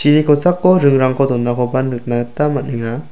kosako ringrangko donakoba nikna gita man·enga.